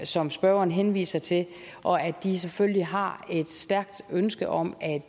som spørgeren henviser til og at de selvfølgelig har et stærkt ønske om at